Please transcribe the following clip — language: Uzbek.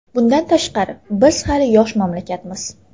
Bundan tashqari, biz hali yosh mamlakatmiz.